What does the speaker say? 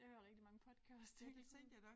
Jeg hører rigtig mange podcasts hele tiden